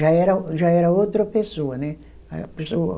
Já era, já era outra pessoa. Aí